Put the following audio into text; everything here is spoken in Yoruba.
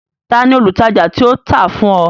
Ta ni olùtajà tí ó tà á fún ọ?